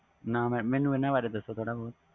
ਨਾ madam ਮੈਨੂੰ ਇਹਨਾਂ ਬਾਰੇ ਦੱਸੋ